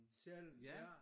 Salen ja